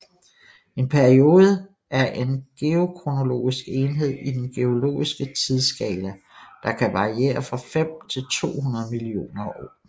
En periode er en geokronologisk enhed i den geologiske tidsskala der kan variere fra 5 til 200 millioner år